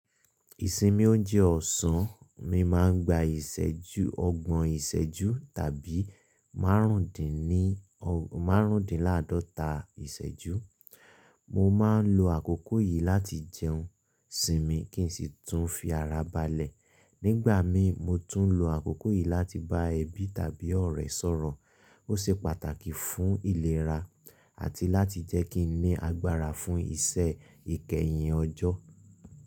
Ìsinmi ọ̀unjẹ ọ̀sán, mi màa ń gbà ìsẹ́jú, ọ̀gbọ̀n ìsẹ́jú tàbi--marundini o, màrùndínlàdọ̀tà ìsẹ́jú. Mọ màa ń lọ àkókò yí làtí jẹun, sinmi kín ṣì tún fí ara balẹ̀. Nígbàmií, mọ tún n lọ àkókò yí làtí bá ẹbi tàbí ọ̀rẹ̀ sọ̀rọ̀. Ó ṣé pàtàkì fún ìlẹ̀rà àti làtí jẹ́ kín ní àgbàrà fún iṣẹ́ ìkẹyìn ọ̀jọ́.